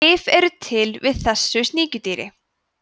lyf eru til við þessu sníkjudýri